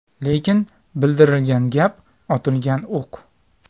Lekin bildirilgan gap otilgan o‘q.